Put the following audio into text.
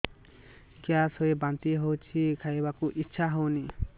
gas ହୋଇ ବାନ୍ତି ହଉଛି ଖାଇବାକୁ ଇଚ୍ଛା ହଉନି